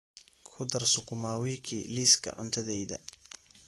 ku dar sukuma wiki liiska cuntadayda